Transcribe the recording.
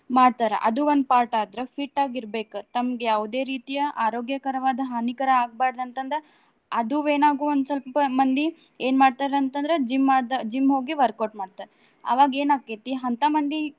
ಮಾಡ್ತಾರ ಅದು ಒಂದ್ part ಆದ್ರ fit ಆಗಿ ಇರ್ಬೆಕ್. ತಮ್ಗ ಯಾವುದೇ ರೀತಿಯ ಆರೋಗ್ಯಕರವಾದ ಹಾನಿಕರ ಆಗ್ಬಾರ್ದ ಅಂತ ಅಂದ ಅದು ಏನಾಗ್ ಒಂದ್ ಸ್ವಲ್ಪ ಮಂದಿ ಏನ್ ಮಾಡ್ತಾರ ಅಂತ್ ಅಂದ್ರ gym ದ gym ಹೋಗಿ workout ಮಾಡ್ತಾರ. ಆವಾಗೇನ್ ಆಕ್ಕೇತಿ ಅಂತ ಮಂದಿ.